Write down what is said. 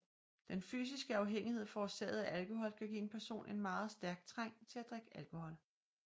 Den fysiske afhængighed forårsaget af alkohol kan give en person en meget stærk trang til at drikke alkohol